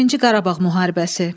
Birinci Qarabağ müharibəsi.